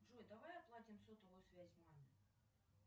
джой давай оплатим сотовую связь маме